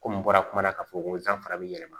Komi n bɔra kuma la k'a fɔ ko danfara bɛ yɛlɛma